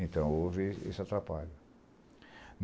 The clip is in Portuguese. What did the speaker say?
Então houve esse atrapalho.